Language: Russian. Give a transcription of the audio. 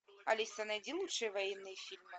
алиса найди лучшие военные фильмы